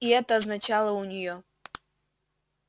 и это означало у неё